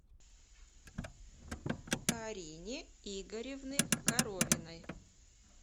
карине игоревны коровиной